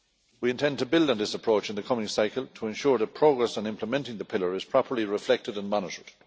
We intend to build on this approach in the coming cycle to ensure that progress on implementing the pillar is properly reflected and monitored.